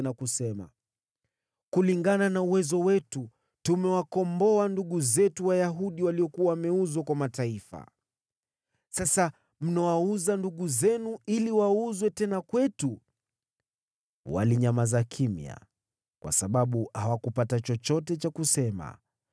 na kusema: “Kulingana na uwezo wetu, tumewakomboa ndugu zetu Wayahudi waliokuwa wameuzwa kwa watu wasioamini. Sasa mnawauza ndugu zenu, ili wauzwe tena kwetu!” Walinyamaza kimya, kwa sababu hawakupata chochote cha kusema.